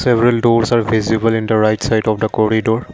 several doors are visible in the right side of the corridoor.